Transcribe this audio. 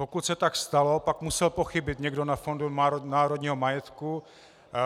Pokud se tak stalo, pak musel pochybit někdo na Fondu národního majetku,